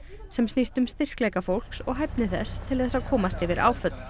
sem snýst um styrkleika fólks og hæfni þess til þess að komast yfir áföll